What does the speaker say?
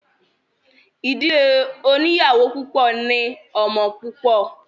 Ìdílé oníyàwó púpọ̀ ní ọmọ púpọ̀.